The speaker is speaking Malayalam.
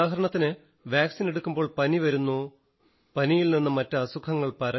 ഉദാഹരണത്തിന് വാക്സിൻ എടുക്കുമ്പോൾ പനി വരുന്നു പനിയിൽ നിന്ന് മറ്റ് അസുഖങ്ങൾ പരക്കും